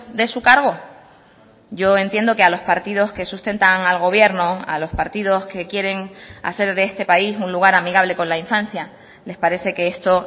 de su cargo yo entiendo que a los partidos que sustentan al gobierno a los partidos que quieren hacer de este país un lugar amigable con la infancia les parece que esto